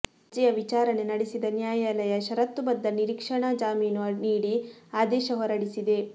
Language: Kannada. ಅರ್ಜಿಯ ವಿಚಾರಣೆ ನಡೆಸಿದ ನ್ಯಾಯಾಲಯ ಷರತ್ತುಬದ್ಧ ನಿರೀಕ್ಷಣಾ ಜಾಮೀನು ನೀಡಿ ಆದೇಶ ಹೊರಡಿಸಿದೆ